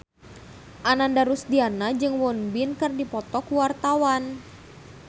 Ananda Rusdiana jeung Won Bin keur dipoto ku wartawan